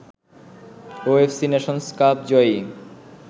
OFC nations cup Joyee